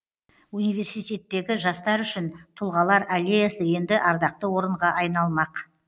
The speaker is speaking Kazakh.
университеттегі жастар үшін тұлғалар аллеясы енді ардақты орынға айналмақ